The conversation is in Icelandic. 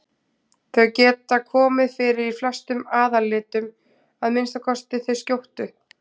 Þau geta komið fyrir í flestum aðallitum, að minnsta kosti þau skjóttu.